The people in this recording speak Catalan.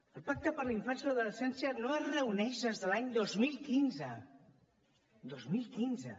el pacte per la infància i l’adolescència no es reuneix des de l’any dos mil quinze dos mil quinze